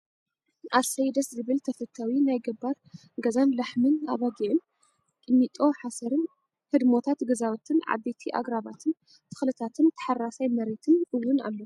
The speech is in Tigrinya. ኣሰይ ደስ ዝብል ተፈታው ናይ ገባር ገዛን ላሕምን ኣባጊዕን ቂሚጦ ሓሰርን ህድሞታት ገዛውትን ዓበይቲ ኣግራባትን ተክልታትን ታሓራሳይ መሬትን እውን ኣሎ።